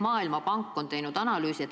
Maailmapank on teinud analüüsi.